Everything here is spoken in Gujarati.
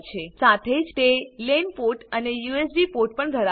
સાથે જ તે લેન પોર્ટ અને યુએસબી પોર્ટ પણ ધરાવે છે